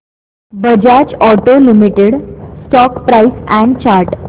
Bajaj auto limited stock price and chart